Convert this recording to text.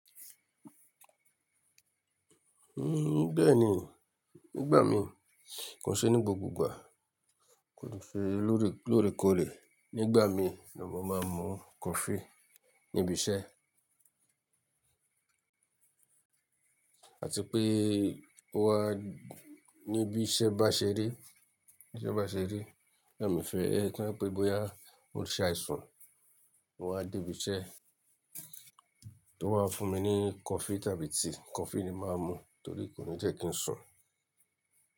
Uhm, bẹ́ẹ̀ni. Nígbà mi kò ṣe ní gbogbo ìgbà, kò ṣe lóre kóòrè. Nígbà mi ni mo máa ń mú coffee níbi iṣẹ́. Àti pé ó wá níbi iṣẹ́ bá ṣe ri, ní ibi iṣẹ́ bá ṣe ri, torìe mí fẹ́ ẹ to je pé bóyá o n ṣe àìsàn, o wáa dé ibi iṣẹ́, tó wá fún mi ní coffee tàbí tea. Coffee ni máa ń mú torí kò ní jẹ́ kí n sùn.